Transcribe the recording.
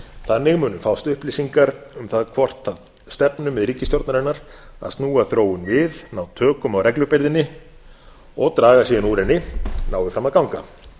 þannig munu fást upplýsingar um það hvort það stefnumið ríkisstjórnarinnar að snúa þróun við ná tökum á reglubyrðinni og draga síðan úr henni nái fram að ganga